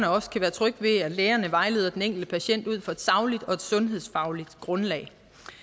også kan være trygge ved at lægerne vejleder den enkelte patient ud fra et sagligt og sundhedsfagligt grundlag